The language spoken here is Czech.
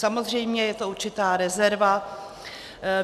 Samozřejmě je to určitá rezerva.